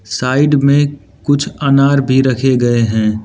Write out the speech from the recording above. Side में कुछ अनार भी रखे गए हैं।